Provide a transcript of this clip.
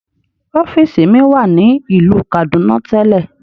Ọfiisi mi wa ni ilu Kaduna telẹ.